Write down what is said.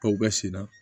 Baw bɛ sen na